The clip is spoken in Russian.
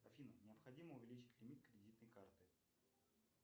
афина необходимо увеличить лимит кредитной карты